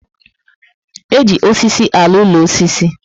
E ji osisi alụ úlọ osisi